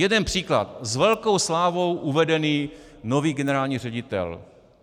Jeden příklad - s velkou slávou uvedený nový generální ředitel.